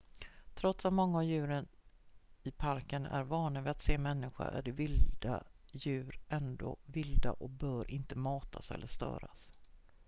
trots att många av djuren i parken är vana vid att se människor är de vilda djuren ändå vilda och bör inte matas eller störas